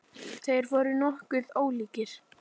Þeir voru nokkuð ólíkir.